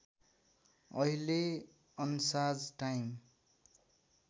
अहिले अन्साज टाइम